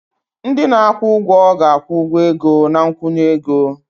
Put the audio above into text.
Ndị na-akwụ ụgwọ ga-akwụ ụgwọ ego na nkwụnye ego.